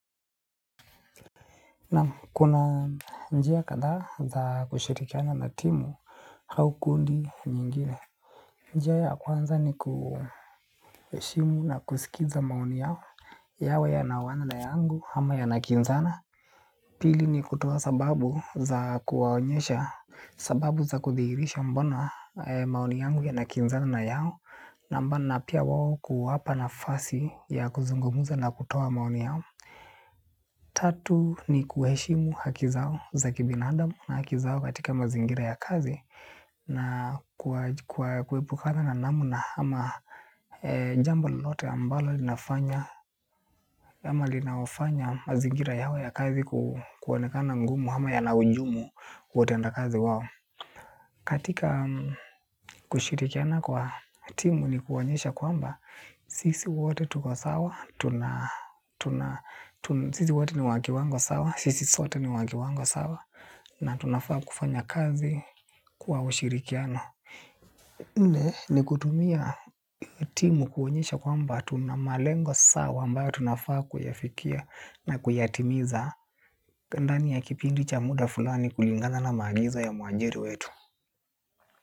Naam kuna njia kadhaa za kushirikiana na timu au kundi nyingine. Njia ya kwanza ni kuheshimu na kusikiza maoni yao yawe yanaoana na yangu ama yanakinzana. Pili ni kutoa sababu za kuwaonyesha sababu za kudhihirisha mbona maoni yangu yanakinzana na yao na pia wao kuwapa nafasi ya kuzungumuza na kutoa maoni yao. Tatu ni kuheshimu haki zao za kibinadamu na haki zao katika mazingira ya kazi na kuepukana na namna ama jambo lolote ambalo linafanya ama linaofanya mazingira yao ya kazi kuonekana ngumu ama yana hujumu kwa utenda kazi wao. Katika kushirikiana kwa timu ni kuonyesha kwamba sisi wote tuko sawa, sisi wote ni wa kiwango sawa, sisi sote ni wa kiwango sawa, na tunafaa kufanya kazi kwa ushirikiano. Nne ni kutumia timu kuonyesha kwamba tuna malengo sawa ambayo tunafaa kuyafikia na kuyatimiza ndani ya kipindi cha muda fulani kulingana na maagizo ya muajiri wetu.